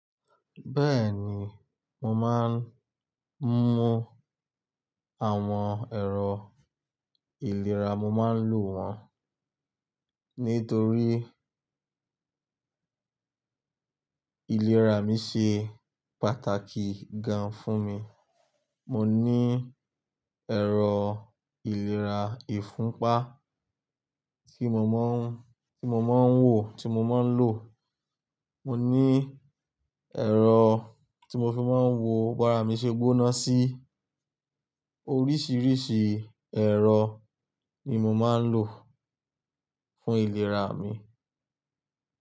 Bẹ́ẹ̀ni, mo máa ń mú àwọn ẹ̀rọ ìlera, mo máa ń lò wọ́n. Nítorí ìlera mi ṣe pàtàkì gan fún mi. Mo ní ẹ̀rọ ìlera ìfúnpá tí mo máa ń, tí mo máa ń wò, tí mo máa ń lò. Mo ní ẹ̀rọ tí mo fi máa ń wo bárà mí ṣe gbóná sí. Oríṣiríṣi ẹ̀rọ ni mo máa ń lò fún ìlera mi.